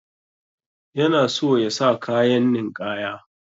Yana so yasa kayan ninƙaya.